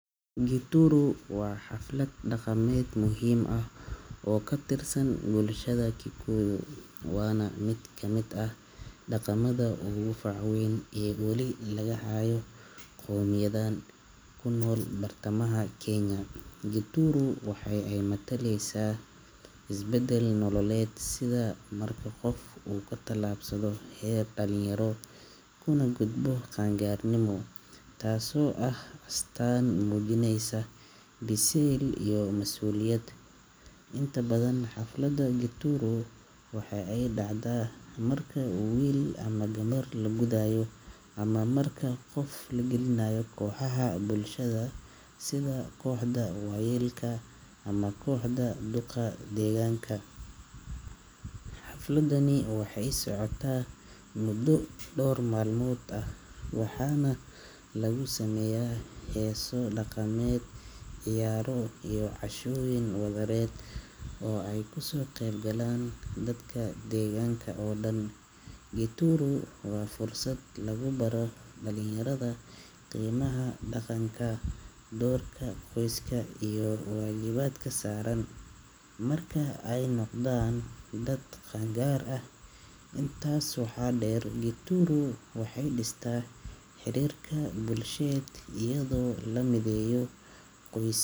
Gituru waa xaflad dhaqameed muhiim ah oo ka tirsan bulshada Kikuyu, waana mid ka mid ah dhaqamada ugu fac weyn ee weli laga hayo qowmiyaddan ku nool bartamaha Kenya. Gituru waxa ay mataleysaa isbedel nololeed, sida marka qof uu ka tallaabsado heer dhalinyaro kuna gudbo qaangaarnimo, taasoo ah astaan muujinaysa biseyl iyo mas’uuliyad. Inta badan, xafladda Gituru waxa ay dhacdaa marka wiil ama gabar la gudayo ama marka qof la gelinayo kooxaha bulshada sida kooxda waayeelka ama kooxda duqa deegaanka. Xafladani waxay socotaa muddo dhawr maalmood ah waxaana lagu sameeyaa heeso dhaqameed, ciyaaro iyo cashooyin wadareed oo ay kasoo qeyb galaan dadka deegaanka oo dhan. Gituru waa fursad lagu baro dhalinyarada qiimaha dhaqanka, doorka qoyska iyo waajibaadka saaran marka ay noqdaan dad qaangaar ah. Intaas waxaa dheer, Gituru waxay dhistaa xiriirka bulsheed iyadoo la mideeyo qoys.